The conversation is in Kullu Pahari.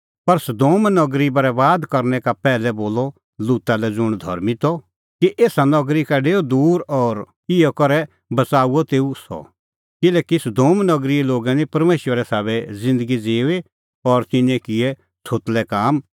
पर सदोम नगरी बरैबाद करनै का पैहलै बोलअ लूता लै ज़ुंण धर्मीं त कि एसा नगरी का डेऊ दूर और इहअ करै बच़ाऊअ तेऊ सह किल्हैकि सदोम नगरीए लोगै निं परमेशरे साबै ज़िन्दगी ज़िऊई और तिन्नें किऐ छ़ोतलै काम